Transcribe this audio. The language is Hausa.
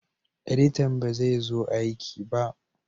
Edita ba zai so aiki ba